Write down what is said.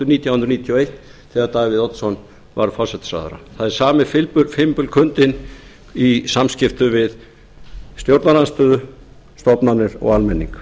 nítján hundruð níutíu og eitt þegar davíð oddsson var forsætisráðherra það er sami fimbulkuldinn í samskiptum við stjórnarandstöðu stofnanir og almenning